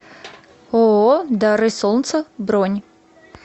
ооо дары солнца бронь